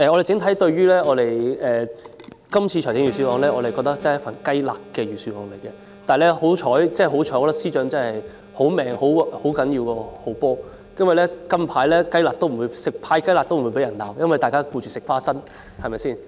整體而言，我們認為這份預算案是"雞肋"，幸好財政司司長命好，命好比好波更重要，"派雞肋"也不會被罵，因為大家最近忙着吃"花生"，對嗎？